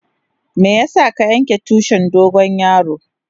Meya sa ka yanka tushin dogo yaro?